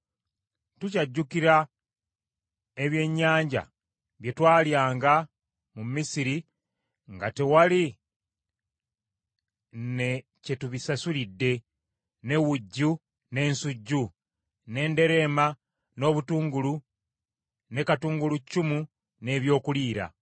Tukyajjukira ebyennyanja bye twalyanga mu Misiri nga tewali na kye tubisasulidde, ne wujju n’ensujju, n’enderema n’obutungulu ne katungulukyumu n’ebyokuliira.